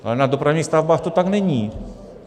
Ale na dopravních stavbách to tak není.